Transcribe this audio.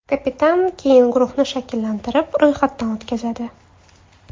Kapitan keyin guruhni shakllantirib, ro‘yxatdan o‘tkazadi.